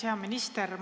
Hea minister!